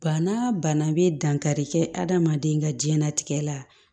Bana bana bɛ dankari kɛ adamaden ka diɲɛnatigɛ la